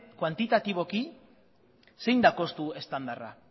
kuantitatiboki zein da kostu estandarra